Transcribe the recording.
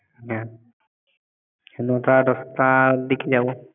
হ্যাঁ নটা দশটার দিকে যাব।